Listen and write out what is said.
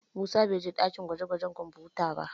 Musa bai je ɗakin gwaje-gwajen kwamfuta ba